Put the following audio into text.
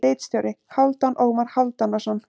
Ritstjóri: Hálfdan Ómar Hálfdanarson.